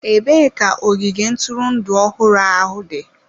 Ebee ka ogige ntụrụndụ ọhụrụ ahụ dị?